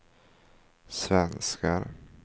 svenskar